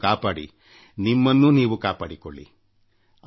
ನಿಮ್ಮ ಪ್ರೀತಿಪಾತ್ರರ ಬಗ್ಗೆ ಕಾಳಜಿ ವಹಿಸಿ ನಿಮ್ಮ ಬಗ್ಗೆಯೂ ಕಾಳಜಿ ತೆಗೆದುಕೊಳ್ಳಿ